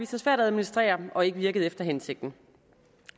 sig svært at administrere og har ikke virket efter hensigten